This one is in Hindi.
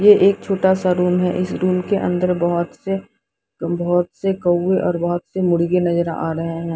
ये एक छोटा सा रूम है इस रूम के अंदर बहुत से बहुत से कौए और बहुत से मुर्गे नजर आ रहे हैं।